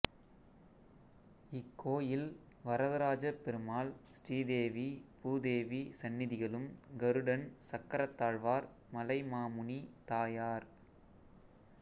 இக்கோயிலில் வரதராஜப்பெருமாள் ஸ்ரீதேவி பூதேவி சன்னதிகளும் கருடன் சக்கரத்தாழ்வார் மலைமாமுனி தாயார்